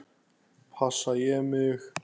Passa ég mig?